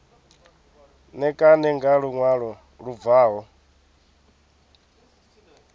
ṋekane nga luṅwalo lu bvaho